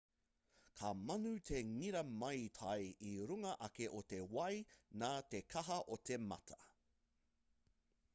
ka mānū te ngira maitai i runga ake o te wai nā te kaha o te mata